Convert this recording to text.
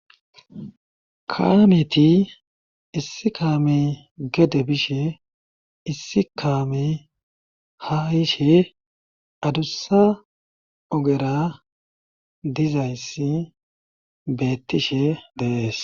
kaameti issi kaame gede bishe issi kaame ha hishe adussa ogera dizayssi beettishe deees